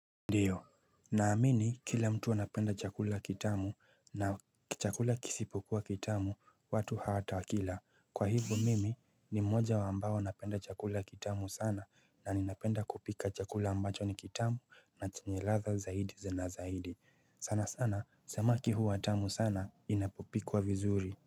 Ndiyo naamini kila mtu anapenda chakula kitamu na chakula kisipokuwa kitamu watu hawata wakila kwa hivo mimi ni mmoja wambao wanapenda chakula kitamu sana na ninapenda kupika chakula ambacho ni kitamu na chanyeladha zaidi za nazahidi sana sana samaki huu tamu sana inapopikuwa vizuri.